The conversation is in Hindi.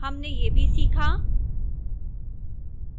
हमने यह भी सीखा: